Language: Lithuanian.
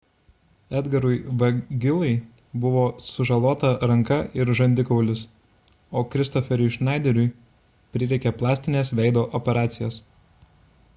edgarui veguillai buvo sužalota ranka ir žandikaulis o kristofferiui schneideriui prireikė plastinės veido operacijos